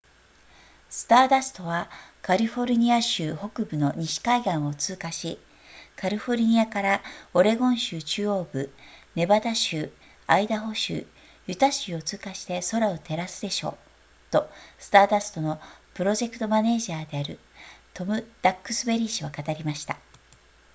スターダストはカリフォルニア州北部の西海岸を通過しカリフォルニアからオレゴン州中央部ネバダ州アイダホ州ユタ州を通過して空を照らすでしょうとスターダストのプロジェクトマネージャーであるトムダックスベリー氏は語りました